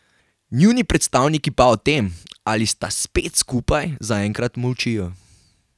Njuni predstavniki pa o tem, ali sta spet skupaj, zaenkrat molčijo.